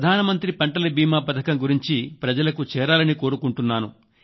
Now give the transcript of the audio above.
ప్రధానమంత్రి పంటల బీమా పథకం గురించి ప్రజలకు చేరాలని కోరుకుంటున్నాను